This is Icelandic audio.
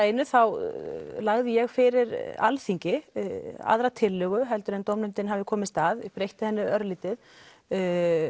einu á lagði ég fyrir Alþingi aðra tillögu heldur en dómnefndin hafði komist að breytti henni örlítið ég